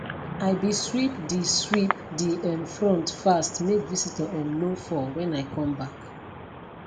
i be sweep de sweep de um front fast make visitor um no fall when i come back